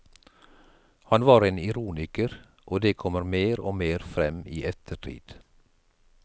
Han var en ironiker, og det kommer mer og mer frem i ettertid.